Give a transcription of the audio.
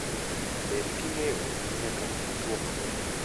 Bed king'iyo ni nyaka ring'o two maber